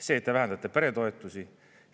See, et te vähendate peretoetusi.